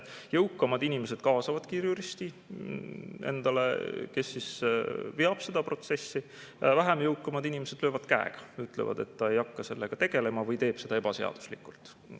Jõukamad inimesed kaasavadki juristi, kes veab seda protsessi, vähem jõukamad inimesed löövad käega ja ütlevad, et ta ei hakka sellega tegelema või teeb seda ebaseaduslikult.